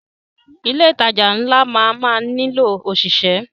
Ilé ìtajà ńlá máa má nílò ọ̀ṣìṣẹ́.